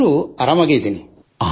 ಆದರೂ ಆರಾಮಾಗಿದ್ದೇನೆ